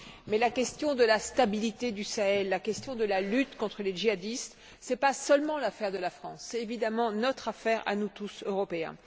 Mais la question de la stabilité du Sahel, la question de la lutte contre les djihadistes, ce n'est pas seulement l'affaire de la France, c'est évidemment notre affaire à nous tous, Européens.